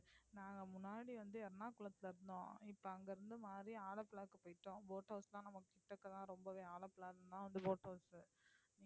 நாங்க முன்னாடி வந்து எர்ணாகுளத்தில இருந்தோம் இப்ப அங்கிருந்து மாறி ஆலப்புழா போயிட்டோம் boat house